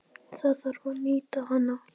Það þarf að nýta hana.